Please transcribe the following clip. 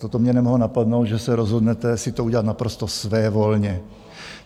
Toto mě mohlo napadnout, že se rozhodnete si to udělat naprosto svévolně.